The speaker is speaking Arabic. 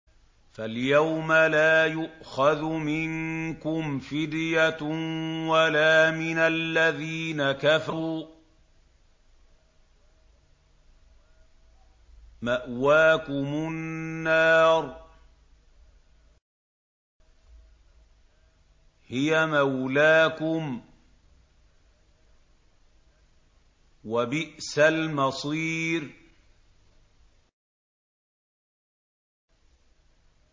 فَالْيَوْمَ لَا يُؤْخَذُ مِنكُمْ فِدْيَةٌ وَلَا مِنَ الَّذِينَ كَفَرُوا ۚ مَأْوَاكُمُ النَّارُ ۖ هِيَ مَوْلَاكُمْ ۖ وَبِئْسَ الْمَصِيرُ